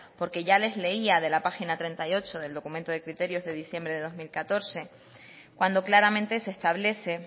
porque ya les leía de la página treinta y ocho del documento de criterios de diciembre de dos mil catorce cuando claramente se establece